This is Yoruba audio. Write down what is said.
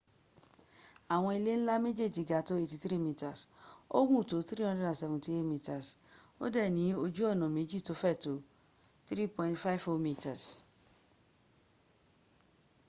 awon ile nla mejeji ga to 83 meters o gun to 378 meters o de ni oju ona meji to fe to 3.50m